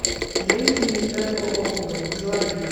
женщина из пятого округа заводи